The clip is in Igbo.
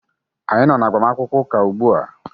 Anyị nọ n'agbamakwụkwọ ụka ugbu a.